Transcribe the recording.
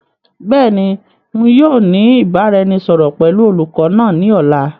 Beeni, ǹ yóò ní ìbáraẹnisọọ̀rọ̀ pẹ̀lú olùkọ́ náà ni ọ̀la.